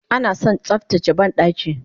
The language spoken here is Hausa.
Anason tsaftace bandaki